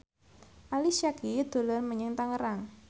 Ali Syakieb dolan menyang Tangerang